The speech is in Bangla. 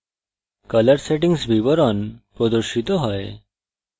color settings বিবরণ প্রদর্শিত হয়